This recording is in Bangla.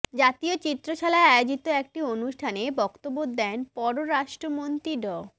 জাতীয় চিত্রশালায় আয়োজিত একটি অনুষ্ঠানে বক্তব্য দেন পররাষ্ট্রমন্ত্রী ড